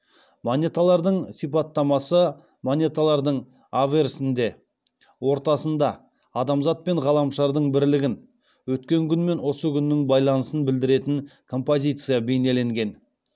монеталардың сипаттамасы монеталардың аверсінде ортасында адамзат пен ғаламшардың бірлігін өткен күн мен осы күннің байланысын білдіретін композиция бейнеленген